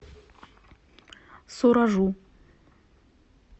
суражу